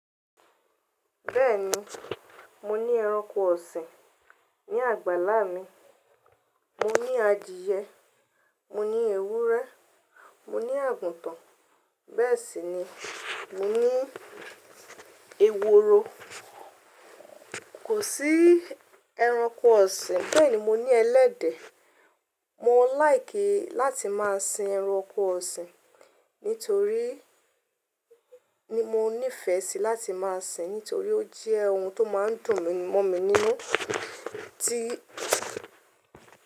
Bẹ́ẹ̀ni, mo ní ẹranko ọ̀sìn ní àgbàlá mi, mo ní adìẹ, mo ní ewúrẹ́, mo ní àgùntàn, bẹ́ẹ̀ sì ni mo ní ehoro. Kò sí ẹranko ọ̀sìn, bẹ́ẹ̀ ni mo ní ẹlẹ́dẹ̀. Mo like láti máa sin ẹranko ọ̀sìn nítorí ní mo nífẹ̀ẹ́ sí láti máa sin nítorí ó jẹ́ ohun tó máa ń dùn mọ́ mi nínú tí.